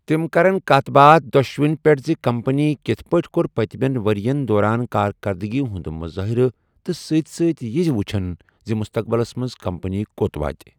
تِم کرَن کَتھ باتھ دۄشوٕنی پیٹھ زِ کمپنی کِتھ پٲٹھۍ کوٚر پٔتمٮ۪ن ؤرۍ یَن دوران کارکٔردٕگی ہُنٛد مُظٲہرٕ تہٕ سۭتۍ سۭتۍ یہِ زِ تِم وٕچھَن مُستقبلَس منٛز کمپنی کوٚت واتہِ۔